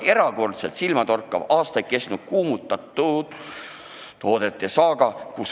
Erakordselt silmatorkav on olnud aastaid kestnud kuumutatavate toodete saaga.